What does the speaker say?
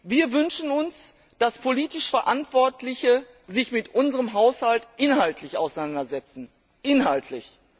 Wir wünschen uns, dass sich die politisch Verantwortlichen mit unserem Haushalt inhaltlich auseinandersetzen inhaltlich!